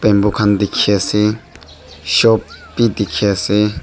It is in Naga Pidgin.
bamboo khan dikhiase shop bi dikhiase.